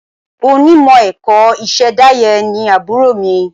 Onímọ̀ ẹ̀kọ́ ìṣẹ̀dáyé ni àbúrò mi.